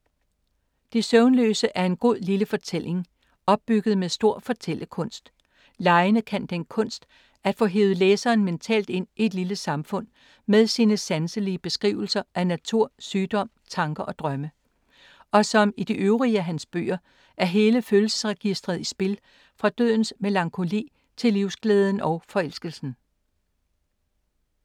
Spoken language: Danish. De søvnløse er en god lille fortælling, opbygget med stor fortællekunst. Leine kan den kunst at få hevet læseren mentalt ind i et lille samfund med sine sanselige beskrivelser af natur, sygdom, tanker og drømme. Og som i de øvrige af hans bøger er hele følelsesregistret i spil fra dødens melankoli til livsglæden og forelskelsen.